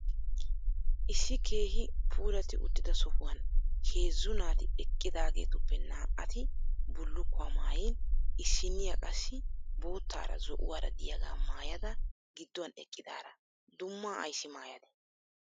Issi keehi puulatti uttida sohuwan heezzu naati eqqidaageetuppe naa"ati bullukkuwa maayin issinniya qassi boottaara zo'uwaara diyaga maayada gidduwan eqqidaara dummaa ayissi maayadee?